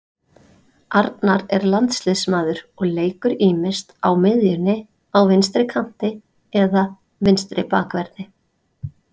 Arnar er landsliðsmaður og leikur ýmist á miðjunni á vinstri kanti eða vinstri bakverði.